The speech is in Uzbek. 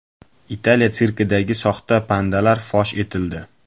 Italiya sirkidagi soxta pandalar fosh etildi.